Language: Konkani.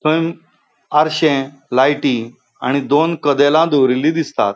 थंय आरशे लाइटी आणि दोन कदेला दोरिल्ली दिसतात.